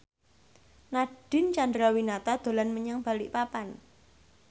Nadine Chandrawinata dolan menyang Balikpapan